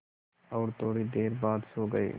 और थोड़ी देर बाद सो गए